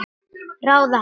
Ráða hana?